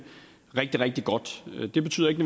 rigtig rigtig godt det betyder ikke